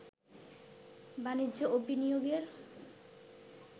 বাণিজ্য ও বিনিয়োগের